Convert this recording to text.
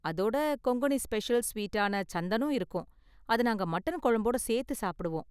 அதோட கொங்கணி ஸ்பெஷல் ஸ்வீட்டான சந்தனும் இருக்கும், அதை நாங்க மட்டன் குழம்போட சேர்த்து சாப்பிடுவோம்.